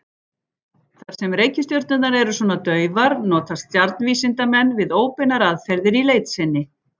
Þar sem reikistjörnurnar eru svona daufar notast stjarnvísindamenn við óbeinar aðferðir í leit sinni.